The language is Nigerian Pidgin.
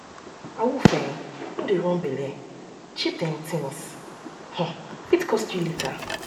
awoof um no dey run belle cheap dem things um fit cost you later